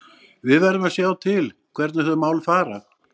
Við verðum að sjá til hvernig þau mál fara.